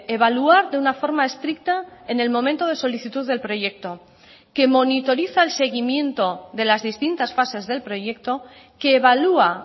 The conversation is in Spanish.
evaluar de una forma estricta en el momento de solicitud del proyecto que monitoriza el seguimiento de las distintas fases del proyecto que evalúa